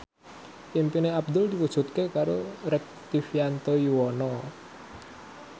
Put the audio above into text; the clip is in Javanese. impine Abdul diwujudke karo Rektivianto Yoewono